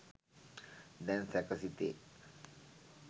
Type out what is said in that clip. දැන් සැක සිතේ!